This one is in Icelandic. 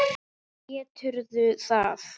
Geturðu það?